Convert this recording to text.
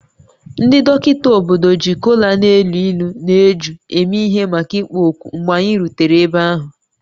Ndị dọkịta obodo ji kola na-elu ilu na eju eme ihe maka ịkpọ oku mgbe anyị rutere ebe ahụ